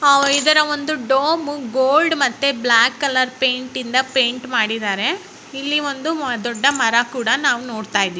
ಇದರ ಒಂದು dome gold ಮತ್ತೆ ಬ್ಲಾಕ್ ಕಲರ್ ಪೈಂಟಿಂದ ಪೈಂಟ್ ಮಾಡಿದ್ದಾರೆ ಇಲ್ಲಿಒಂದು ದೊಡ್ಡ ಮರ ಕೂಡ ನಾವು ನೋಡ್ತಾ ಇದೀವಿ.